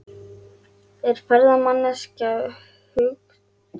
Þetta umboð þarf hvorki að skrá né auglýsa.